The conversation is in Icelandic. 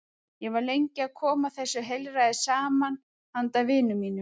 Ég var lengi að koma þessu heilræði saman handa vinum mínum.